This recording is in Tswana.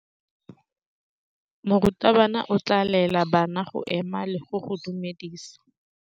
Morutabana o tla laela bana go ema le go go dumedisa.